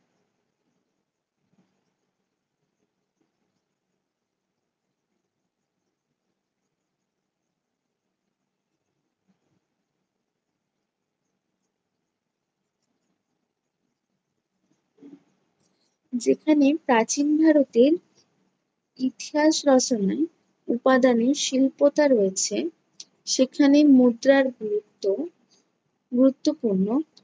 যেখানে প্রাচীন ভারতের ইতিহাস রচনায় উপাদানের শিল্পতা রয়েছে, সেখানের মুদ্রার গুরুত্ব~ গুরুত্বপূর্ণ